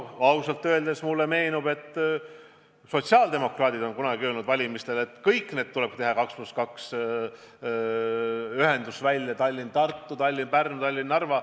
Ausalt öeldes meenub mulle, et sotsiaaldemokraadid on kunagi valimistel öelnud, et kõik põhimaanteed tuleb teha 2 + 2 ühendused: Tallinn–Tartu, Tallinn–Pärnu, Tallinn–Narva.